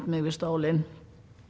mig við stólinn